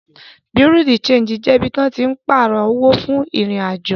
Bùréáù de ṣéńjì jẹ ibi tí wọ́n tín pààrọ̀ owó fún ìrìn-àjò